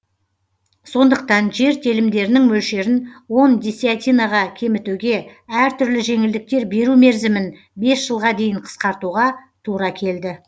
сондықтан жер телімдерінің мөлшерін он десятинаға кемітуге әр түрлі жеңілдіктер беру мерзімін бес жылға дейін қысқартуға тура келді